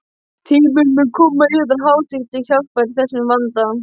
Tíminn mun koma yðar hátign til hjálpar í þessum vanda.